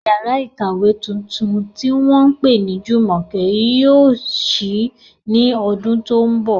Yàrá ìkàwé tuntun tí wọ́n pè ní Jumoke yóò ṣí ní ọdún tó ń bọ̀.